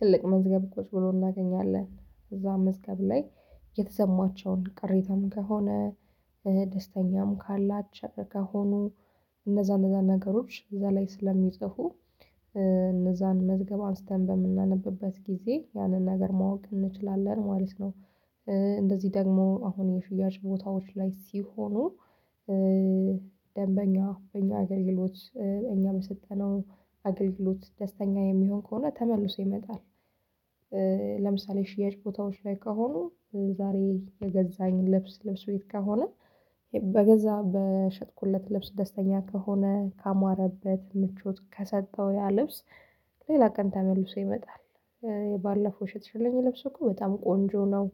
ትልቅ መዝገብ ቁጭ ብሎ እናገኛለን እዛ መዝገብ ላይ የተሰማቸውን ቅሬታም ከሆነ ደስተኛም ካላቸው ከሆኑ እነዛ እነዛ ነገሮች እዛ ላይ ስለሚጽፉ እነዛን መዝገብ አንስተን በምናነብበት ጊዜ ያንን ነገር ማወቅ እንችላለን ማለት ነው። እንደዚህ ደግሞ አሁን የሽያጭ ቦታዎች ላይ ሲሆኑ ደንበኛ በእኛ አገልግሎት እኛ የሰጠነው አገልግሎት ደስተኛ የሚሆን ከሆነ ተመልሶ ይመጣል። ለምሳሌ ሽያጭ ቦታዎች ላይ ከሆኑ ዛሬ የገዛኝ ለብስ ቤት ከሆነ በገዛ በሸጥኩለት ልብስ ደስተኛ ከሆነ ካማረበት ምቿት ከሰጠው ያ ልብስ ሌላ ቀን ተመልሶ ይመጣል። ባለፈው የሸጥሸለኝ ልብሱ እኮ በጣም ቆንጆ ነው።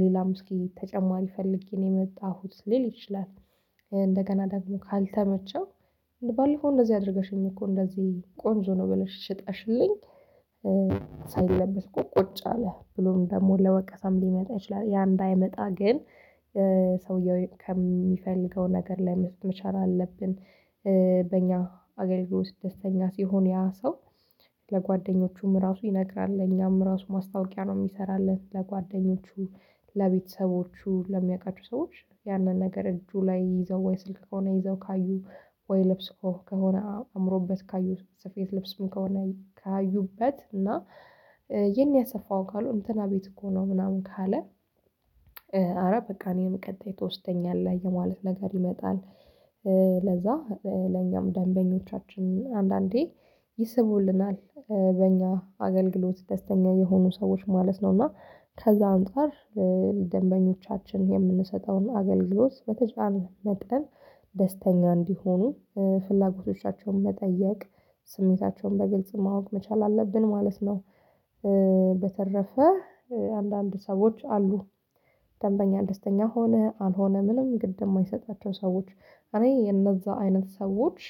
ሌላም እስኪ ተጨማሪ ፈልጌ ነው የመጣሁት ሊል ይችላል። እንደገና ደግሞ ካልተመቸው ባለፈው እንደዚህ አድርገሽኝ እኮ እንደዚህ ቆንጆ ነው ብለሽ ሽጠሽልኝ። ሳይለበስ እኮ ቁጭ አለ ብሎም ደግሞ ለወቀሳም ሊመጣ ይችላል ያ እንዳይመጣ ግን ሰውየው ከሚፈልገው ነገር ላይ መቻል አለብን። በእኛ አገልግሎት ደስተኛ ሲሆን ያ ሰው ለጓደኞቹም ራሱ ይነግራል እኛም ራሱ ማስታወቂያ ነው የሚሰራለን። ለጓደኞቹ ለቤተሰቦቹ ለሚያውቃቸው ሰዎች ያንን ነገር እጁ ላይ ይይዘው ወይ ስልክ ከሆነ ይዘው ካዩ ወይ ልብስ ከሆነ አምሮበት ካዩት ስፌት ለብስም ከሆነ ካዩበት እና የት ነው የያስፋህው ካሉ እንትና ቤት እኮ ነው ምናምን ካለ እረ በቃ እኔን ቀጣይ የተወስደኛለህ የማለት ነገር ይመጣል። ለዛ ለኛም ደንበኞቻችን አንዳንዴ ይስብልናል በእኛ አገልግሎት ደስተኛ የሆኑ ሰዎች ማለት ነው። እና ከዛ አንፃር ደንበኞቻችን የምንሰጠውን አገልግሎት በተቻለ መጠን ደስተኛ እንዲሆኑ ፍላጎቶቻቸውን መጠየቅ ስሜታቸውን በግልጽ ማወቅ መቻል አለብን ማለት ነው። በተረፈ አንዳንድ ሰዎች አሉ። ደንበኛ ደስተኛ ሆነ አልሆነ ምንም ግድ የማይሰጣቸው ሰዎች እኔ የነዛ አይነት ሰዎች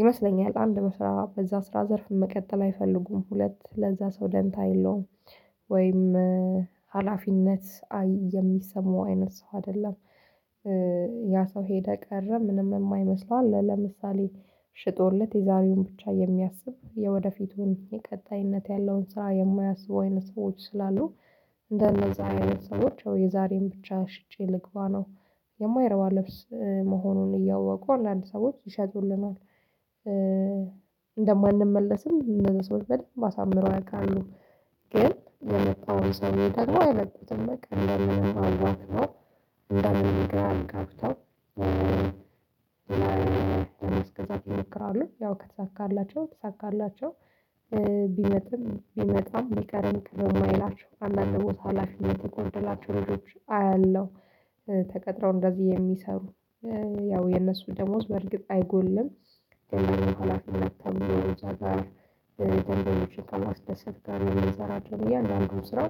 ይመስለኛል። አንድ መስራት በዛ ስራ ዘርፍ መቀጠል አይፈልጉም ሁለት ለዛ ሰው ደንታ የለውም። ወይም ሀላፊነት የሚሰማው አይነት ሰው አይደለም። ያ ሰው ሄደ ቀረ ምንም የማይመስለው አለ ለምሳሌ ሽጦለት የዛሬውን ብቻ የሚያስብ የወደፊቱን የቀጣይነት ያለውን ስራ የማያስብ አይነት ሰዎች ስላሉ እንደነዛ አይነት ሰዎች የዛሬን ብቻ ሽጬ ልግባ ነው። የማይረባ ልብስ መሆኑን እያወቁ አንዳንድ ሰዎች ይሸጡልናል። እንደማንመለስም እንደዚህ ሰው በደንብ አሳምረው ያቃሉ። ግን ለመጣው ሰው ደግሞ አይለቁትም እንደምንም አዋክበው እንደምንም ግራ አጋብተው። ለማስገዛት ይሞክራሉ ያው ከተሳካላቸው ትሳካላቸው። ቢመጡም ቢመጣም ቢቀርም ቅር የማይላቸው አንዳንድ ቦታ ሀላፊነት የተጎንደላቸው አያለሁ። ተቀጥረው እንደዚህ የሚሰሩ ያው የነሱ ደሞዝ በርግጥ አይጎልም። ደንበኞችን ሳናስደስት ጋር የሚሰራቸው እያአንዳንድ ስራ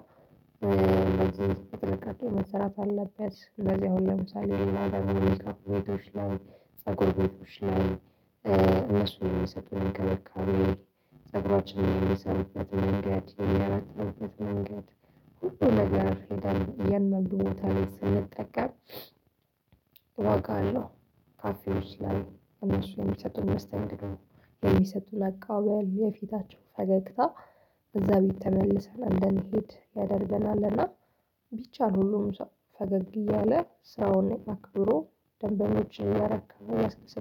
ለዚህ ጥንቃቄ መሰራት አለበት። እንደዚህ አሁን ለምሳሌ ቤቶች ላይ ፅጉር ቤቶች ላይ እነሱ የሰጠን ክብካቤ ፀጉራችንን የሚሰሩበት መንገድ የሚያበጥሩበት መንገድ ሁሉ ነገር ሄደን የመጥፎ ቦታ ላይ ስንጠቀም ነው። ካፌ ውስጥ ላይ እነሱ የሚሰጡን መስተንግዶ የሚሰጡን አቀባበል የፊታችን ፈገግታ እዛ ቤት ተመልሰን እንደንሄድ ያደርገናል እና። ቢቻል ሁሉም ሰው ፈገግ እያለ ሰውን አክብሮ ደንበኞችን እያረካ እያስደሰተ